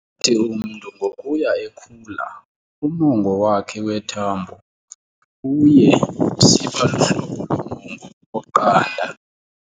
Athi umntu ngokuya ekhula, umongo wakhe wethambo uye usiba luhlobo lomongo oqanda.